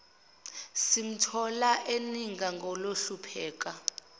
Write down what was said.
simthola eninga ngokuhlupheka